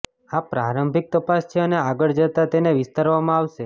આ પ્રારંભિક તપાસ છે અને આગળ જતાં તેને વિસ્તારવામાં આવશે